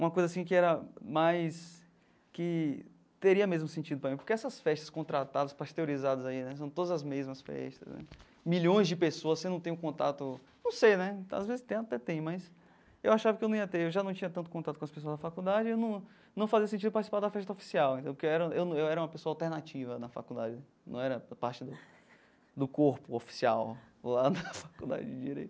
uma coisa assim que era mais que, teria mesmo sentido para mim, porque essas festas contratadas, pasteurizadas aí né, são todas as mesmas festas né, milhões de pessoas, você não tem o contato, não sei né, às vezes ter, até tem, mas eu achava que eu não ia ter, eu já não tinha tanto contato com as pessoas da faculdade, num num fazia sentido participar da festa oficial, que eu era eu era uma pessoa alternativa na faculdade, não era parte do do corpo oficial lá da faculdade de Direito.